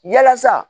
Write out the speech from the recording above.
Yalasa